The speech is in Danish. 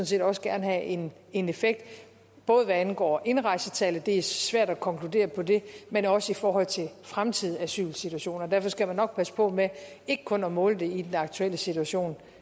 set også gerne have en en effekt både hvad angår indrejsetallet det er svært at konkludere på det men også i forhold til fremtidige asylsituationer derfor skal man nok passe på med ikke kun at måle det i den aktuelle situation